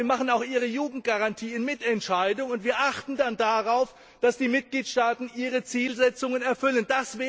fest. Ja, wir beschließen auch ihre Jugendgarantie in Mitentscheidung, und wir achten dann darauf, dass die Mitgliedstaaten ihre Zielsetzungen erfüllen.